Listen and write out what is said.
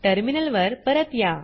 टर्मिनलवर परत या